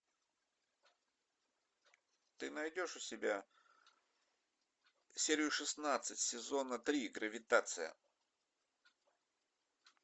ты найдешь у себя серию шестнадцать сезона три гравитация